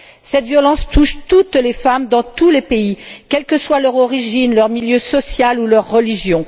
Cette violence touche toutes les femmes, dans tous les pays, quelle que soit leur origine, leur milieu social ou leur religion.